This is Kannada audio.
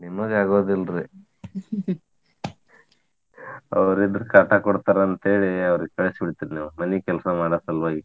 ನಿಮಗ ಆಗೋದಿಲ್ರೀ ಅವ್ರ ಇದ್ರ್ ಕಾಟಾ ಕೊಡ್ತಾರ ಅಂತ ಹೇಳಿ ಅವ್ರಿಗ್ ಕಳ್ಸಿ ಬಿಡ್ತೀರಿ ನೀವ್ ಮನಿ ಕೆಲ್ಸಾ ಮಾಡೊ ಸಲ್ವಾಗಿ.